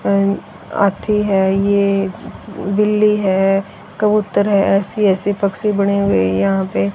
हाथी हैं ये बिल्ली हैं कबूतर हैं ऐसी ऐसी पक्षी बने हुए यहाँ पे।